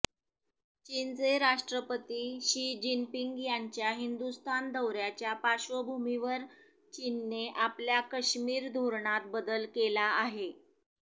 चीनचे राष्ट्रपती Xi Jinping यांच्या हिंदुस्थान दौऱयाच्या पार्श्वभूमीवर चीनने आपल्या कश्मीर धोरणात बदल केला आहे